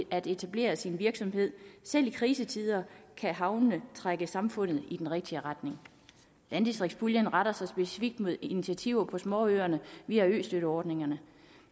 at etablere sin virksomhed selv i krisetider kan havnene trække samfundet i den rigtige retning landdistriktspuljen retter sig specifikt mod initiativer på småøerne via østøtteordningerne